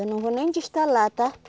Eu não vou nem destalar, tá?